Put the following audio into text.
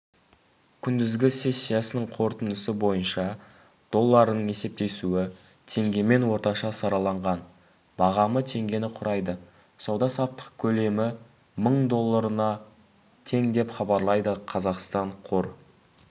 күндізгі сессиясының қорытындысы бойынша долларының есептесуі теңгемен орташа сараланған бағамы теңгені құрайды сауда-саттық көлемі мың долларына тең деп хабарлайды қазақстан қор